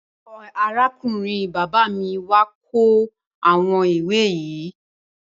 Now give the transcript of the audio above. Arákùnrin bàbá mi wà kó àwọn ìwé yìí.